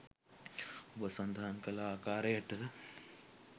ඔබ සඳහන් කළ ආකාරයට